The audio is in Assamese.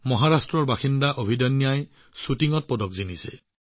মহাৰাষ্ট্ৰৰ বাসিন্দা অভিদন্যাই শ্বুটিঙত পদক লাভ কৰিছে